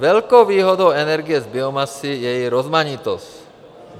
Velkou výhodou energie z biomasy je její rozmanitost.